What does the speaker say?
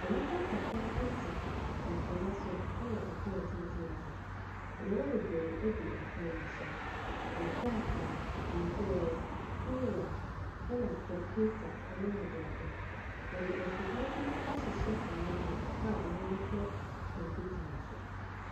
Nnipa kakraa ɛte akonnwa so ɛwɔ pon tenten bi ho. Nneɛma bebree gu pon no so. Nkrataa, nhwiren, kuruwa, ɛna kɔmputa ne adeade. Wɔde afidie ahyehyɛ wɔn anim a wɔde rehwɛ kɔmputer no so.